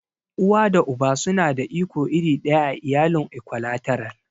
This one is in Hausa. Uwa da Uba suna da iko iri ɗaya a iyalin Ikwalateral.